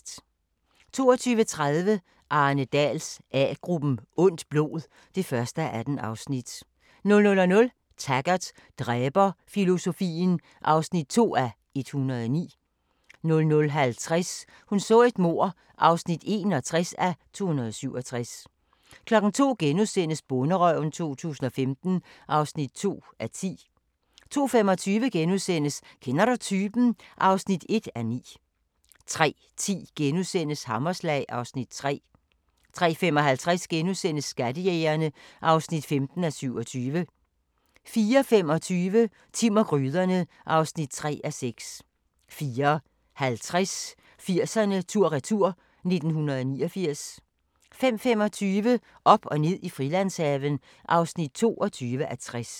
22:30: Arne Dahls A-gruppen: Ondt blod (1:18) 00:00: Taggart: Dræberfilosofien (2:109) 00:50: Hun så et mord (61:267) 02:00: Bonderøven 2015 (2:10)* 02:25: Kender du typen? (1:9)* 03:10: Hammerslag (Afs. 3)* 03:55: Skattejægerne (15:27)* 04:25: Timm og gryderne (3:6) 04:50: 80'erne tur-retur: 1989 05:25: Op og ned i Frilandshaven (22:60)